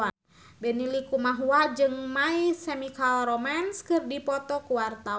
Benny Likumahua jeung My Chemical Romance keur dipoto ku wartawan